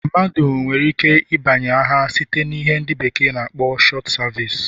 Mmadụ nwere ike ịbanye agha site na ihe ndi beekee na akpo short service.